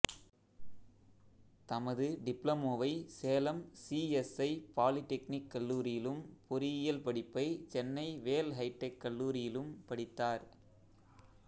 தமது டிப்ளமோவை Salem C S I polytechnic கல்லூரியிலும் பொறியியல் படிப்பை சென்னை வேல் ஹைடெக் கல்லூரியிலும் படித்தார்